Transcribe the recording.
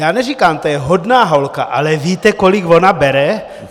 Já neříkám, to je hodná holka, ale víte, kolik ona bere?"